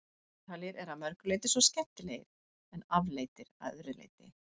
Ítalir eru að mörgu leyti svo skemmtilegir- en afleitir að öðru leyti.